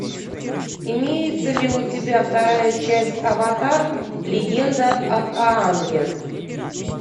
имеется ли у тебя вторая часть аватар легенда об аанге